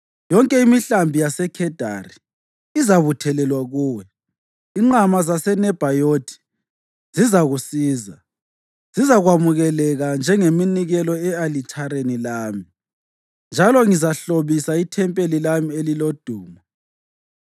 Yonke imihlambi yaseKhedari izabuthelwa kuwe; inqama zaseNebhayothi zizakusiza; zizakwamukeleka njengeminikelo e-alithareni lami, njalo ngizahlobisa ithempeli lami elilodumo.